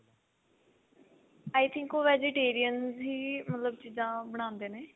I think ਉਹ vegetarian ਹੀ ਮਤਲਬ ਚੀਜ਼ਾਂ ਬਣਾਉਂਦੇ ਨੇ